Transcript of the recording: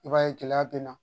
I b'a ye gɛlɛya bɛ na